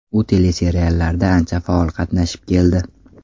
U teleseriallarda ancha faol qatnashib keldi.